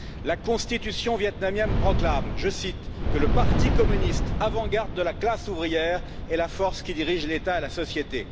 La Constitution vietnamien proclame, je cite, que le Parti communiste, avant garde de la classe ouvrière, est la force qui dirige l'État et la société.